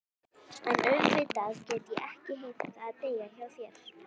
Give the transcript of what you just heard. En auðvitað get ég ekki heimtað að deyja hjá þér.